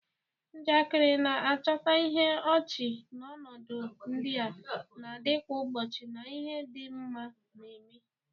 Njakịrị na-achọta ihe ọchị n'ọnọdụ ndị a na-adị kwa ụbọchị na ihe ndị mmadụ na-eme.